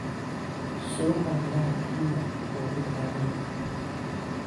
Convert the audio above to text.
Suuqa miraha Kenya waa mid caalami ah.